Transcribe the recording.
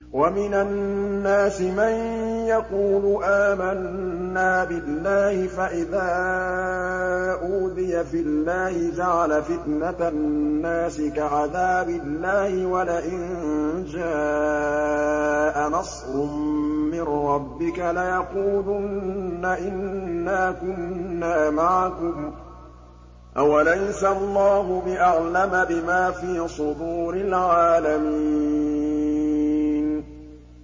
وَمِنَ النَّاسِ مَن يَقُولُ آمَنَّا بِاللَّهِ فَإِذَا أُوذِيَ فِي اللَّهِ جَعَلَ فِتْنَةَ النَّاسِ كَعَذَابِ اللَّهِ وَلَئِن جَاءَ نَصْرٌ مِّن رَّبِّكَ لَيَقُولُنَّ إِنَّا كُنَّا مَعَكُمْ ۚ أَوَلَيْسَ اللَّهُ بِأَعْلَمَ بِمَا فِي صُدُورِ الْعَالَمِينَ